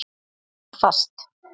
Er allt fast?